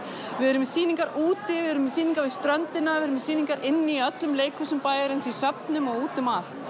við erum með sýningar úti við erum með sýningar við ströndina við erum með sýningar inni í öllum leikhúsum bæjarins í söfnum og úti um allt